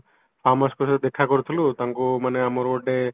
farm houseଏର ଦେଖା କରୁଥିଲୁ ତାଙ୍କୁ ମାନେ ଆମର ଗୋଟେ